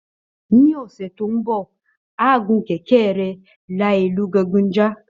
Ní ọ̀sẹ̀ tó ń bọ̀, á gun kẹ̀kẹ́ rẹ̀ la ìlú gangan já